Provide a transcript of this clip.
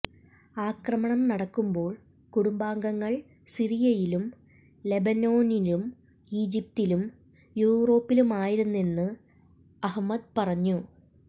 ആക്രമണം നടക്കുമ്പോൾ കുടുംബാംഗങ്ങൾ സിറിയയിലും ലെബനോനിലും ഈജിപ്തിലും യൂറോപ്പിലുമായിരുന്നെന്ന് അഹ്മദ് പറഞ്ഞു